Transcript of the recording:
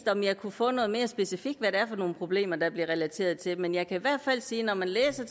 om jeg kunne få noget mere specifikt hvad det er for nogle problemer der bliver relateret til men jeg kan i hvert fald sige at når man læser